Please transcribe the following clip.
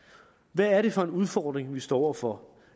hvad er det for en udfordring vi står over for